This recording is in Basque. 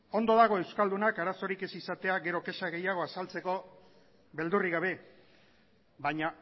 ondo dago euskaldunak arazorik ez izatea gero kexa gehiago azaltzeko beldurrik gabe baina